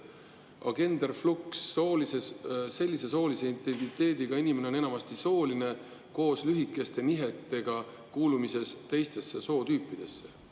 Agenderflux – sellise soolise identiteediga inimene on enamasti asooline koos lühikeste nihetega kuulumises teistesse sootüüpidesse.